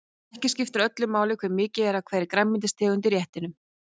Ekki skiptir öllu máli hve mikið er af hverri grænmetistegund í réttinum.